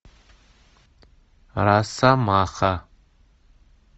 росомаха